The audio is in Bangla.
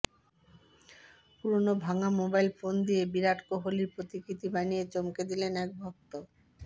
পুরনো ভাঙা মোবাইল ফোন দিয়ে বিরাট কোহলির প্রতিকৃতি বানিয়ে চমকে দিলেন এক ভক্ত